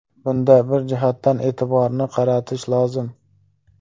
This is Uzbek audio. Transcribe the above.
Bunda bir jihatga e’tiborni qaratish lozim.